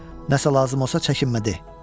Nə isə lazım olsa çəkinmə de.